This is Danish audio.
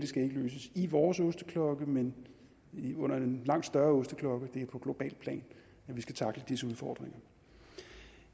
skal løses i vores osteklokke men under en langt større osteklokke det er på globalt plan vi skal tackle disse udfordringer